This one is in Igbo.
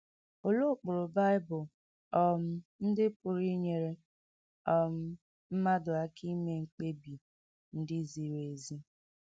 Olee ụkpụrụ Bible um ndị pụrụ inyere um mmadụ aka ime mkpebi ndị ziri ezi?